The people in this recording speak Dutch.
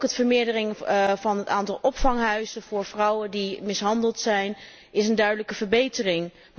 Ook het vermeerderen van het aantal opvanghuizen voor vrouwen die mishandeld zijn, is een duidelijke verbetering.